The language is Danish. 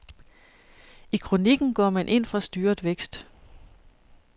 I kronikken går man ind for styret vækst.